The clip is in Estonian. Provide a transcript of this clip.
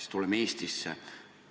Aga tuleme nüüd Eestisse.